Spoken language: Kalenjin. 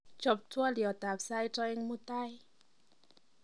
chob twolyot ab sait oeng mutai